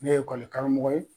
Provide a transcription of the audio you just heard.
Ne ye karamɔgɔ ye.